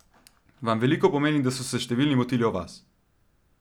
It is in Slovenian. Vam veliko pomeni, da so se številni motili o vas?